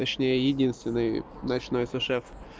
точнее единственный ночной су-шеф